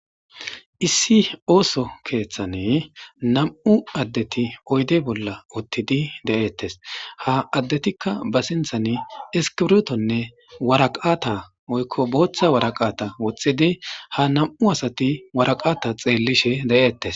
Issi ooso keeththane nam7u addeti oyde bolla uttidi de7eettes ha addetikka ba sinthan eskibrtonne waraqata oykko booththa waraqata woxxidi ha nam7u asati waraqata xeellishe de7ettes.